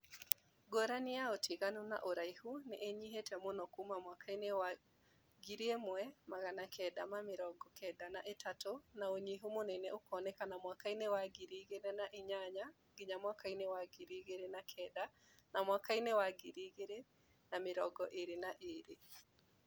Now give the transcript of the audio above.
Ngũrani ya ũtiganu na ũraihu nĩ ĩnyihite mũno kuuma mwaka wa 1993 na ũnyihu mũnene ũkoneka mwaka ini wa 2008-2009 na 2022